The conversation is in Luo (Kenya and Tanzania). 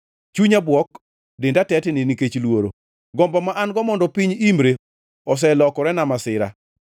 Chunya bwok, denda tetni nikech luoro; gombo ma an-go mondo piny imre oselokorena masira.